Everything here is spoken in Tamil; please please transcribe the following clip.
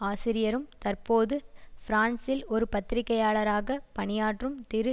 ஆசிரியரும் தற்போது பிரான்சில் ஒரு பத்திரிகையாளராக பணியாற்றும் திரு